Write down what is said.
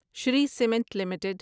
Shri cement limited